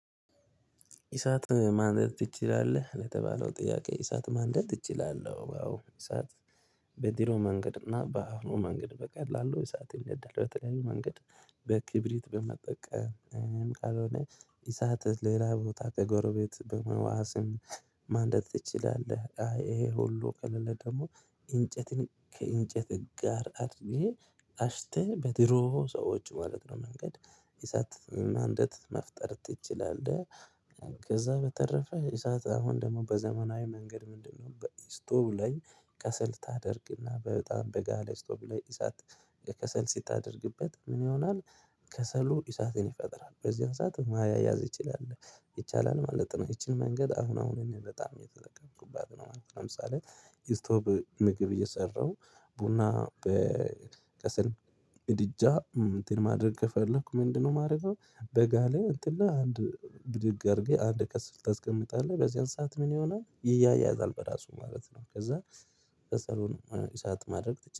እሳት ማንደድ ትችላለህ? ለተባለው ጥያቄ እሳት ማንደድ እችላለሁ ያው እሳት በድሮ መንገድ እና በአሁኑ መንገድ በቀላሉ እሳት ይነዳል በተለያዩ መንገድ። በክብሪት በመጠቀም። ካልሆነ እሳት ሌላ ቦታ ከጎረቤት በመዋስም ማንደድ ትችላለህ? አይ ይሄ ሁሉ ከለለ ደግሞ እንጨትን ከእንጨት ጋር አድርጌ አሽተህ በድሮ ሰዎች ማለት ነው መንገድ እሳት ማንደድ መፍጠር ትችላለህ። ከዛ በተረፈ እሳት አሁን ደግሞ በዘመናዊ መንገድ ምንድነው? በስቶቭ ላይ ከሰል ታደርግና በጣም በጋለ ስቶቭ ላይ እሳት። ከሰል ስታደርግበት ምን ይሆናል? ከሰሉ እሳትን ይፈጥራል በዚያን ሰዓት ማያያዝ ይቻላል ማለት ነው። ይቺን መንገድ አሁን አሁን እኔ በጣም እየተለቀምኩባት ነው ማለት ነው። ለምሳሌ። ስቶቭ ምግብ እየሰራሁ ቡና በከሰል ምድጃ እንትን ማድረግ ከፈለኩ ምንድነው የማደርገው? በጋ ላይ እንትን ላይ አንድ ብድግ አድርጌ አንድ ከሰል ታስቀምጣለህ በዚህን ሰዓት ምን ይሆናል? ይያያዛል በራሱ ማለት ነው። ከዛ ከሰሉን እሳት ማድረግ